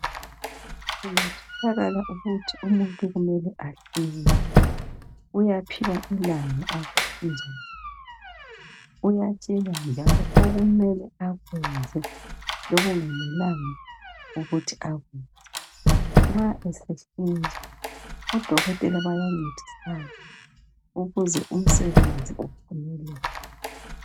Kungatholakala ukuthi umuntu kumele ahlinzwe uyaphiwa ilanga okumele ahlinzwe ngalo njalo uyatshelwa okumele akwenze lokungamelanga akwenze nxa esehlinzwa odokotela bayancedisana ukuze umsebenzi uphumelele.